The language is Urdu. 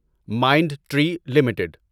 mind tree limited